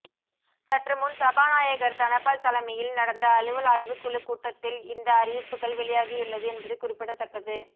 சற்றுமுன் சபாநாயகர் தனபால் தலைமையில் நடந்த அலுவல் ஆய்வுக்குழு கூட்டத்தில் இந்த அறிவிப்புகள் வெளியாகியுள்ளது என்பது குறிப்பிடத்தக்கது